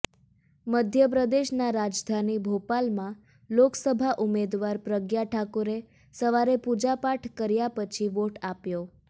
મધ્યપ્રદેશની રાજધાની ભોપાલમાં લોકસભા ઉમેદવાર પ્રજ્ઞા ઠાકુરે સવારે પૂજા પાઠ કર્યા પછી વોટ આપ્યો